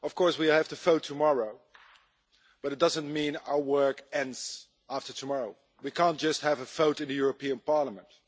We have the vote tomorrow, but it doesn't mean our work ends after tomorrow. We can't just have a vote in the European Parliament.